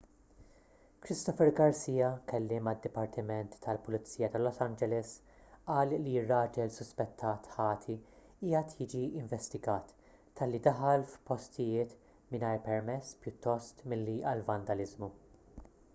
christopher garcia kelliem għad-dipartiment tal-pulizija ta' los angeles qal li r-raġel suspettat ħati qiegħed jiġi investigat talli daħal f'postijiet mingħajr permess pjuttost milli għal vandaliżmu